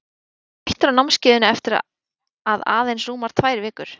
Hann er hættur á námskeiðinu eftir að aðeins rúmar tvær vikur.